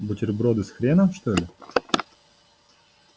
бутерброды с хреном что-ли